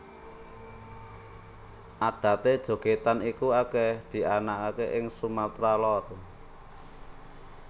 Adaté jogètan iki akèh dianakaké ing Sumatra Lor